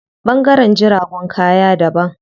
Ɓangaren jiragun kaya daban.